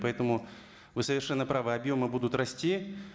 поэтому вы совершенно правы объемы будут расти